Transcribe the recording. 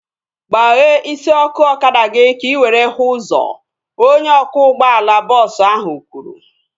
Gbaghee isi ọkụ ọkada gị ka ị were hụ ụzọ! Onye ọkwọ ụgbọala bọọsu ahu kwuru